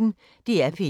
DR P1